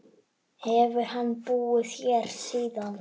Hefur hann búið hér síðan.